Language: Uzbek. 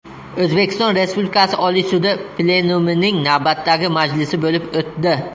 O‘zbekiston Respublikasi Oliy sudi plenumining navbatdagi majlisi bo‘lib o‘tdi.